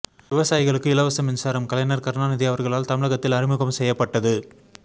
விவசாயிகளுக்கு இலவச மின்சாரம் கலைஞர் கருணாநிதி அவர்களால் தமிழகத்தில் அறிமுகம் செய்யப்பட்டது